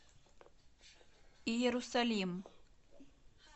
иерусалим